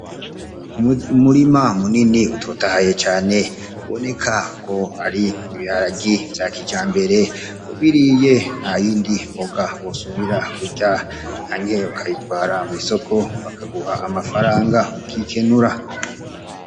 Umurima munini utotahaye cane uboneka ko ari ibiharage vya kijambere, ubiriye nta yindi mboga wosubira kurya canke ukayitwara mw'isoko bakaguha amafaranga, ukikenura.